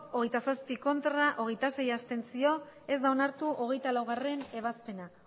hogeita zazpi ez hogeita sei abstentzio ez da onartu hogeita laugarrena